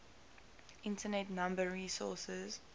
internet number resources